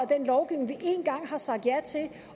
den lovgivning vi én gang har sagt ja til